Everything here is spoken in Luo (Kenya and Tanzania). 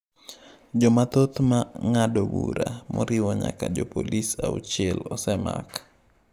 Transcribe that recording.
Jomathoth ma ng’ado bura, moriwo nyaka jopolisi auchiel, osemak.